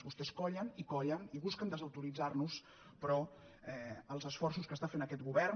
vostès collen i collen i busquen desautoritzar nos però els esforços que fa aquest govern